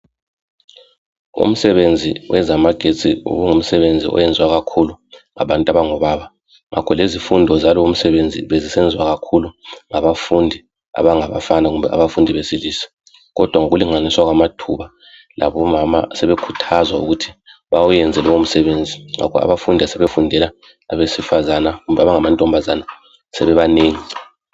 umsebenzi wamagetsi ngumsebenzi oyenziwa kakhulu ngabantu abango baba ngakholezifundo zalowo msebenzi zisenziwa kakhulu ngabafundi abangabafana kumbe abafundi besilisa kodwa ngokulinganiswa kwamathuba labomama sebekhuthazwa ukuthi bawuyenze lowo msebenzi ngoba abafundi asebefundela abesifazana kumbe abangamantombazana sebebanengi